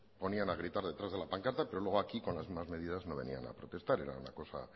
ponían a gritar detrás de la pancarta pero luego aquí con las mismas medidas no venían a protestar era una cosa